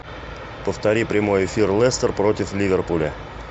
повтори прямой эфир лестер против ливерпуля